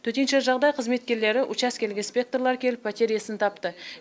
төтенше жағдай қызметкерлері учаскелік инспекторлар келіп пәтер иесін тапты